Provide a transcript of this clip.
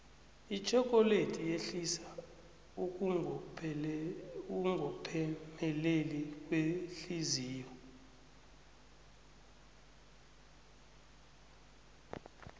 itjhokoledi yehlisa ukungophemeleli kwehliziyo